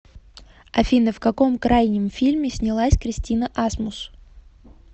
афина в каком крайнем фильме снялась кристина асмус